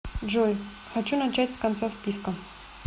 джой хочу начать с конца списка